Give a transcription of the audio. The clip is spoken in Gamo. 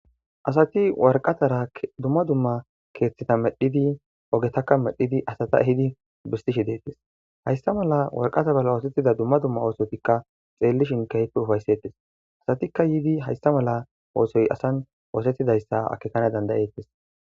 Asati warqataradumma dumma keeththeta medhidi ogetakka medhidi asata hidi bistishi deettes haysta mala warqata bala oosetida dumma dumma oosotikka xeelli shinkaype ufaysettes asatikka yidi haysta mala oosoy asan oosetidayssa akekana dandayeettes.